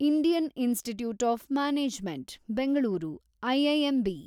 Indian Institute of Management Bengaluru, IIMB